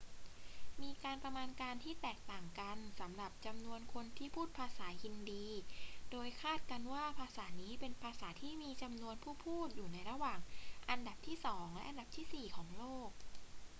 มีการประมาณการที่แตกต่างกันสำหรับจำนวนคนที่พูดภาษาฮินดี โดยคาดกันว่าภาษานี้เป็นภาษาที่มีจำนวนผู้พูดอยู่ในระหว่างอันดับที่สองและอันดับที่สี่ของโลก